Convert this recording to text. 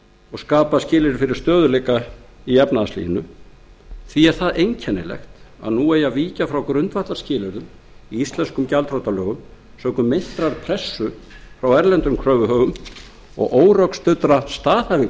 og skapa skilyrði fyrir stöðugleika í efnahagslífinu því sé einkennilegt að nú eigi að víkja frá grundvallarskilyrðum í íslenskum gjaldþrotalögum sökum meintrar pressu frá erlendum kröfuhöfum og órökstuddra staðhæfinga